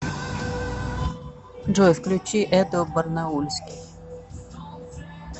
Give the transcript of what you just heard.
джой включи эдо барнаульский